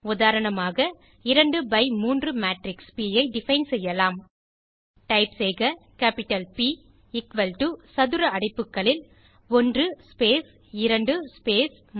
உதாரணமாக 2 by 3 matrix P ஐ define செய்யலாம் டைப் செய்க கேப்டிட்டல் ப் எக்குவல் டோ சதுர அடைப்புகளில் 1 ஸ்பேஸ் 2 ஸ்பேஸ் 3